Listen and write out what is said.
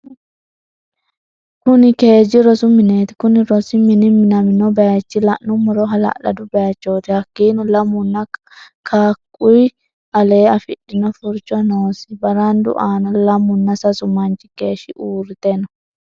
Kunni keeji rosu mineti kunni rosu mini minaminno bayiicho la'anumoro halalado bayichoti hakiino lamunna kakuyii alee afidhino furicho noosi barandu aana lamuna sasu manchi geeshshi uurite no.